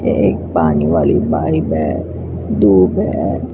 ये एक पानी वाली पाइप है दूब है।